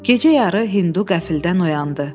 Gecə yarı Hindu qəfildən oyandı.